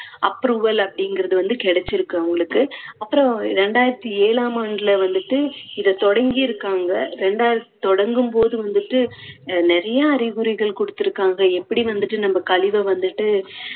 approval அப்படிங்குறது வந்து கிடைச்சுருக்கு அவங்களுக்கு அப்பறம் இரண்டாயிரத்தி ஏழாம் ஆண்டுல வந்துட்டு இதை தொடங்கிருக்காங்க. ரெண்டா~ தொடங்கும் போது வந்துட்டு நிறைய அறிவுறைகள் கொடுத்துருக்காங்க எப்படி வந்துட்டு நம்ம கழிவை வந்துட்டு